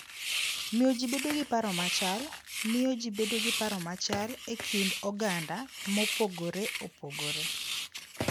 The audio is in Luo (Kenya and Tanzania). Miyo ji bedo gi paro machal: Miyo ji bedo gi paro machal e kind oganda mopogore opogore.